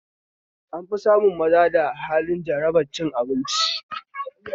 An fi samun maza da halin jarabar cin abinci